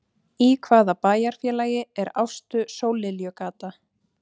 Í hvaða bæjarfélagi er Ástu-Sólliljugata?